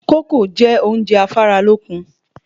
Kókò jẹ́ oúnjẹ afáralókun